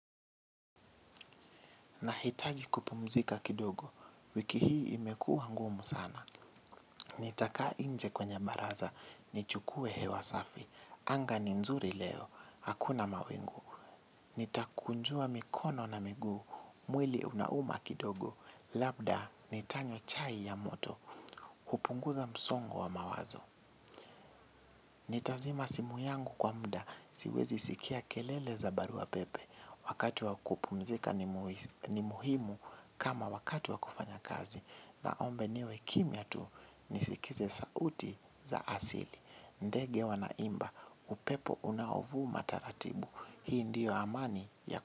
Nahitaji kupumzika kidogo, wiki hii imekuwa ngumu sana. Nitakaa nje kwenye baraza, nichukue hewa safi. Anga ni nzuri leo, hakuna mawingu. Nitakunjua mikono na migu, mwili unauma kidogo. Labda nitanywa chai ya moto, hupunguza msongo wa mawazo. Nitazima simu yangu kwa muda, siwezi sikia kelele za barua pepe. Wakati wa kupumzika ni muhimu kama wakati wa kufanya kazi. Naomba niwe kimya tu nisikize sauti za asili. Ndege wanaimba, upepo unaovuma taratibu. Hii ndiyo amani ya.